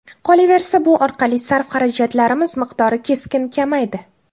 Qolaversa, bu orqali sarf-xarajatlarimiz miqdori keskin kamaydi.